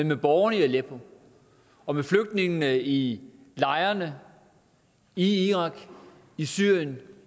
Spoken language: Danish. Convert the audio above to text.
med borgerne i aleppo og med flygtningene i lejrene i irak i syrien